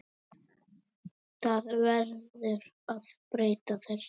Það verður að breyta þessu.